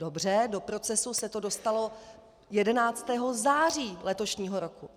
Dobře, do procesu se to dostalo 11. září letošního roku.